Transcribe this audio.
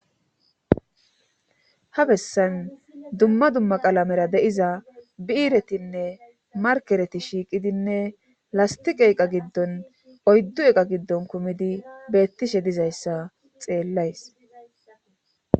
ha bessan dumma dumma qalamera deiza biiiretinne markereti shiiqidinne lastiqa eqa giddon oyddu eqa giddon kumidi beettishe dizayssa xeellays